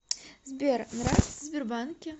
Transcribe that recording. сбер нравится в сбербанке